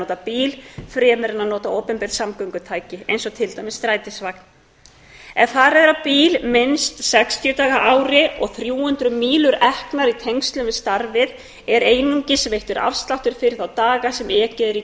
nota bíl fremur en að nota opinber samgöngutæki eins og til dæmis strætisvagn ef farið er á bíl minnst sextíu daga á ári og þrjú hundruð mílur eknar í tengslum við starfið er einungis veittur afsláttur fyrir þá daga sem ekið er í